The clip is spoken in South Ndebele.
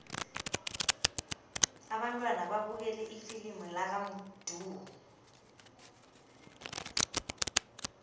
abantwana babukele ifilimu lakamdu